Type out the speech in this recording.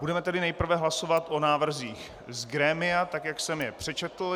Budeme tedy nejprve hlasovat o návrzích z grémia tak, jak jsem je přečetl.